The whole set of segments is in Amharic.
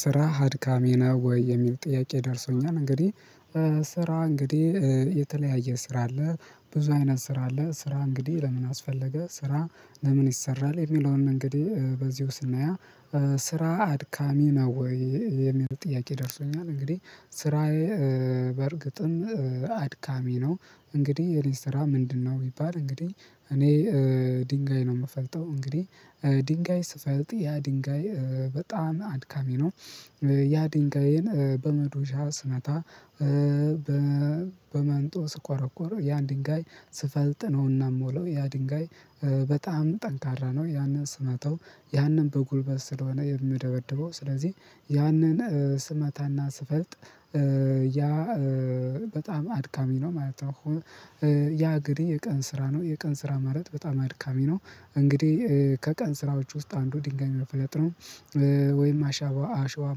ስራ አድካሚ ነው ወይ? የሚል ጥያቄ ደርሶኛል እንግዲህ ስራ እንግዲህ የተለያየ ስራ አለ ብዙ አይነት ስራ አለ ስራ እንግዲህ ለምን አስፈለገ ስራ ለምን ይሰራል የሚለውን እንግዲህ በዚሁ ስናያ ስራ አድካሚ ነው ወይ የሚለው ጥያቄ ደርሶኛል? እንግዲህ ስራዬ በእርግጥም አድካሚ ነው። እንግዲህ የሊስትራ ምንድነው? ይባል እንግዲህ እኔ ድንጋይ ነው የምፈልጠው እንግዲህ ድንጋይ ስፈልጥ ያ ድንጋይ በጣም አድካሚ ነው። ያ ድንጋይን በመዶሻ ስመታ በመንጦ ስቆረቆረ ያ ድንጋይ ስፈልጥ ነውና ምውለው ያ ድንጋይ በጣም ጠንካራ ነው ያንን ስመታው ያንን በጉልበት ስለሆነ የሚደበድበው ስለዚህ ያንን ስመታና ስፈልጥ ያ በጣም አድካሚ ነው ማለት ነው። ያ እግሬ የቀን ስራ ነው የቀን ስራ ማለት በጣም አድካሚ ነው እንግዲህ ከቀን ስራዎች ውስጥ አንዱ ድንጋይ መፍለጥ ነው። ወይም አሸዋ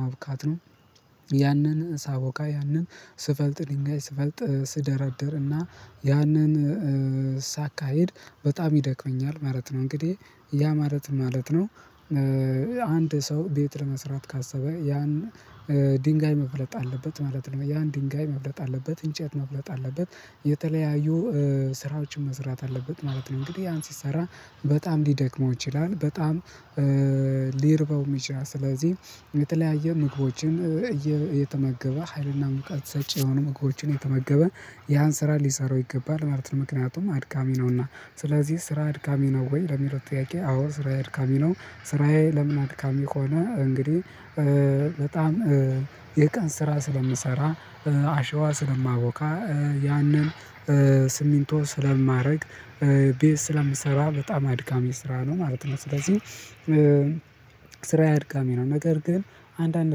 ማብካት ነው። ያንን ሳቦካ ያንን ስፈልጥ ድንጋይ ስፈልጥ ስደረድር እና ያንን ሳካሄድ በጣም ይደክመኛል ማለት ነው እንግዲህ ያ ማለት ማለት ነው። አንድ ሰው ቤት ለመስራት ካሰበ ያን ድንጋይ መፍለጥ አለበት ማለት ነው ያን ድንጋይ መፍለጥ አለበት እንጨት መፍለጥ አለበት የተለያዩ ስራዎችን መስራት አለበት ማለት ነው። እንግዲህ ያን ሲሰራ በጣም ሊደክመው ይችላል በጣም ሊርበው ይችላል። ስለዚህ የተለያየ ምግቦችን እየተመገበ ሀይልና ሙቀት ሰጪ የሆኑ ምግቦችን እየተመገበ ያን ስራ ሊሰራው ይገባል ማለት ነው። ምክንያቱም አድካሚ ነውና ስለዚህ ስራ አድካሚ ነው ወይ ለሚለው ጥያቄ አዎ ስራ አድካሚ ነው። ስራዬ ለምን አድካሚ ሆነ እንግዲህ በጣም የቀን ስራ ስለምሰራ አሸዋ ስለማቦካ ያንን ስሚንቶ ስለማደረግ ቤት ስለምሰራ በጣም አድካሚ ስራ ነው ማለት ነው። ስለዚህ ስራዬ አድጋሚ ነው። ነገር ግን አንዳንድ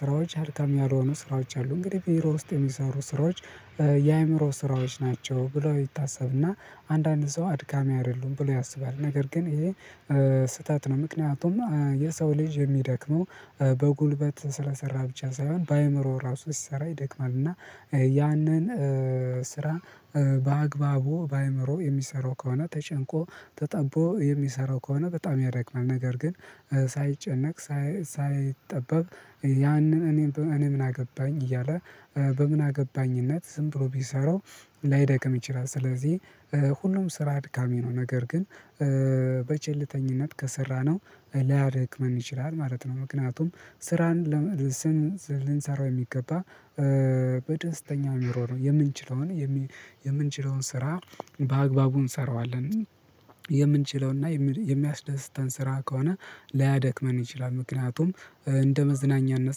ስራዎች አድካም ያልሆኑ ስራዎች አሉ እንግዲህ ቢሮ ውስጥ የሚሰሩ ስራዎች የአእምሮ ስራዎች ናቸው ብለው ይታሰብና አንዳንድ ሰው አድካሚ አይደሉም ብለው ያስባል ነገር ግን ይሄ ስህተት ነው። ምክንያቱም የሰው ልጅ የሚደክመው በጉልበት ስለሰራ ብቻ ሳይሆን በአእምሮ ራሱ ስሰራ ይደክማል እና ያንን ስራ በአግባቡ በአእምሮ የሚሰራው ከሆነ ተጨንቆ ተጠቦ የሚሰራው ከሆነ በጣም ያደክማል። ነገር ግን ሳይጨነቅ ሳይጠበብ ያንን እኔ እኔ ምን አገባኝ እያለ በምን አገባኝነት ዝም ብሎ ቢሰራው ላይደክም ይችላል። ስለዚህ ሁሉም ስራ አድካሚ ነው ነገር ግን በቸልተኝነት ከሰራነው ላያደክመን ይችላል ማለት ነው። ምክንያቱም ስራን ስም ልንሰራው የሚገባ በደስተኛው ኑሮ ነው የምንችለውን የምንችለውን ስራ በአግባቡ እንሰራዋለን የምንችለውንና የሚያስደስታን ስራ ከሆነ ላያደክመን ይችላል። ምክንያቱም እንደ መዝናኛነት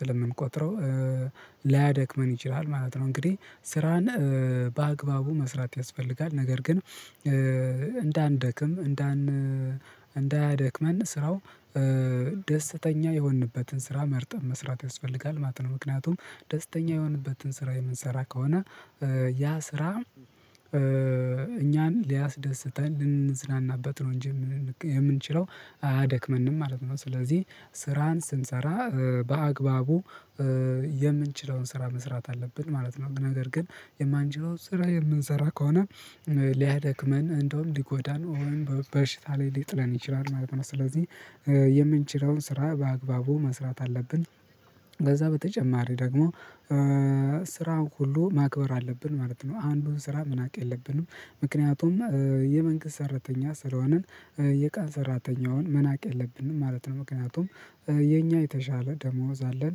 ስለምንቆጥረው ላያደክመን ይችላል ማለት ነው። እንግዲህ ስራን በአግባቡ መስራት ያስፈልጋል ነገር ግን እንዳንደክም እንዳን እንዳያደክመን ስራው ደስተኛ የሆንንበትን ስራ መርጠን መስራት ያስፈልጋል ማለት ነው። ምክንያቱም ደስተኛ የሆንንበትን ስራ የምንሰራ ከሆነ ያ ስራ እኛን ሊያስደስተን ልንዝናናበት ነው እንጂ የምንችለው አያደክመንም ማለት ነው። ስለዚህ ስራን ስንሰራ በአግባቡ የምንችለውን ስራ መስራት አለብን ማለት ነው። ነገር ግን የማንችለውን ስራ የምንሰራ ከሆነ ሊያደክመን እንደውም ሊጎዳን ወይም በሽታ ላይ ሊጥለን ይችላል ማለት ነው። ስለዚህ የምንችለውን ስራ በአግባቡ መስራት አለብን በዛ በተጨማሪ ደግሞ ስራን ሁሉ ማክበር አለብን ማለት ነው። አንዱን ስራ መናቅ የለብንም ምክንያቱም የመንግስት ሰራተኛ ስለሆንን የቃን ሰራተኛውን መናቅ የለብንም ማለት ነው። ምክንያቱም የኛ የተሻለ ደሞዝ አለን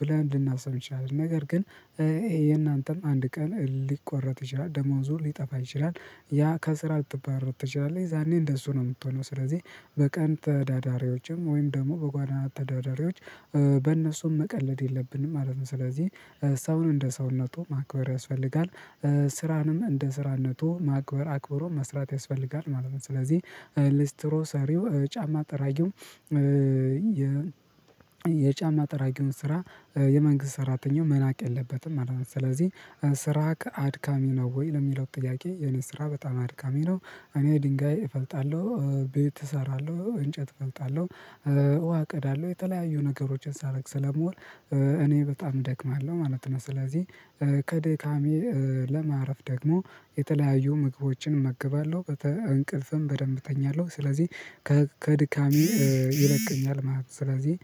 ብለን ልናስብ እንችላለን ነገር ግን ይሄ የእናንተም አንድ ቀን ሊቆረጥ ይችላል ደሞዙ ሊጠፋ ይችላል። ያ ከስራ ልትባረር ትችላለህ የዛኔ እንደሱ ነው የምትሆነው ስለዚህ በቀን ተዳዳሪዎችም ወይም ደግሞ በጎዳና ተዳዳሪዎች በእነሱም መቀለድ የለብንም ማለት ነው። ስለዚህ ሰውን እንደ ሰውነቱ ማክበር ያስፈልጋል ስራንም እንደ ስራነቱ ማክበር አክብሮ መስራት ያስፈልጋል ማለት ነው። ስለዚህ ለስትሮ ሰሪው ጫማ ጠራጊው የ የጫማ ጠራጊውን ስራ የመንግስት ሰራተኛው መናቅ የለበትም ማለት ነው። ስለዚህ ስራ ከአድካሚ ነው ወይ ለሚለው ጥያቄ የነስራ በጣም አድካሚ ነው። እኔ ድንጋይ እፈልጣለሁ ቤት እሰራለሁ እንጨት እፈልጣለሁ ውሃ እቀዳለሁ የተለያዩ ነገሮችን ሳረግ ስለምውል እኔ በጣም እደክማለሁ ማለት ነው። ስለዚህ ከድካሜ ለማረፍ ደግሞ የተለያዩ ምግቦችን እመገባለሁ እንቅልፍም በደንብ እተኛለሁ ስለዚህ ከድካሜ ይለቀኛል ማለት ነው። ስለዚህ